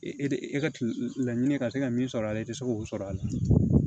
E de e ka laɲini ka se ka min sɔrɔ a la i tɛ se k'o sɔrɔ a la